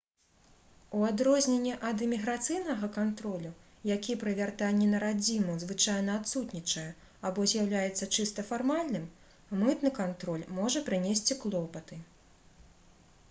у адрозненні ад іміграцыйнага кантролю які пры вяртанні на радзіму звычайна адсутнічае або з'яўляецца чыста фармальным мытны кантроль можа прынесці клопаты